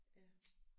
Ja